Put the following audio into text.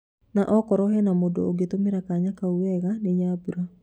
Na okorwo hena mũndũ ũngetũmira kanya kau wega ni Nyambura